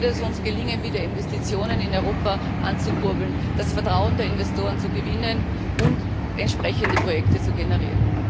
So wird es uns gelingen, wieder Investitionen in Europa anzukurbeln, das Vertrauen der Investoren zu gewinnen und entsprechende Projekte zu generieren.